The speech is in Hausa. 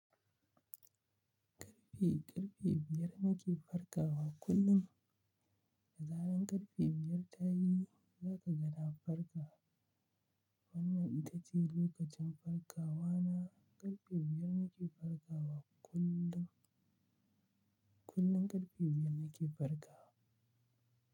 Karfe, karfe biyar nake farkawa kullum. Da zaran karfe biyar ta yi, za ka ga na farka. Wannan ita ce lokacin farkawa na. Karfe biyar nake farkawa kullum. Kullum karfe biyar nake farkawa.